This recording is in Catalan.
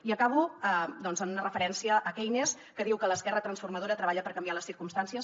i acabo amb una referència a keynes que diu que l’esquerra transformadora treballa per canviar les circumstàncies